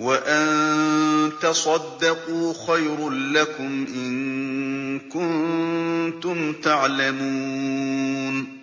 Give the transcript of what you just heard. وَأَن تَصَدَّقُوا خَيْرٌ لَّكُمْ ۖ إِن كُنتُمْ تَعْلَمُونَ